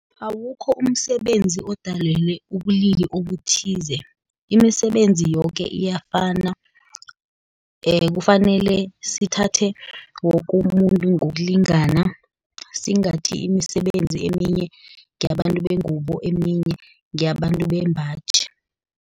Awukho umsebenzi odalelwe ubulili obuthize, imisebenzi yoke iyafana. Kufanele sithathe woke umuntu ngokulingana, singathi imisebenzi eminye ngeyabantu bengubo, eminye ngeyabantu bembaji.